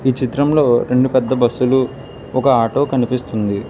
ఈ చిత్రంలో రెండు పెద్ద బస్సు లు ఒక ఆటో కనిపిస్తుంది.